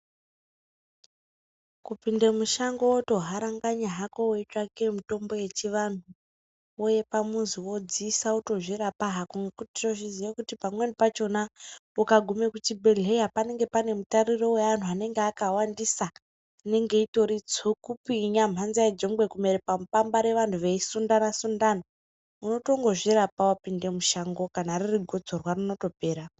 Kupinde muzhango woto haranganya hako weitsvake mitombo yechiantu wouye pamuzi wodziise wotozvirapa hako ngokuti tozviziye kuti pamweni pachona ukagume kuchibhehleya pananenge pane mutariro weantu anenge kawandisa inenge itori "tsukupinya mhanza yejongwe kumere pamupambare "vanhu veisundana sundana unotongo zvirape wapinde mushango kana ririgotsorwa rinopera.